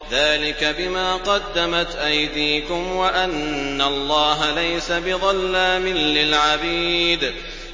ذَٰلِكَ بِمَا قَدَّمَتْ أَيْدِيكُمْ وَأَنَّ اللَّهَ لَيْسَ بِظَلَّامٍ لِّلْعَبِيدِ